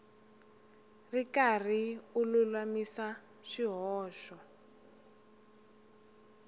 ri karhi u lulamisa swihoxo